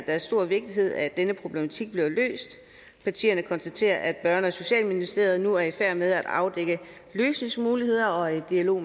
er af stor vigtighed at denne problematik bliver løst og partierne konstaterer at børne og socialministeriet nu er i færd med at afdække løsningsmuligheder og er i dialog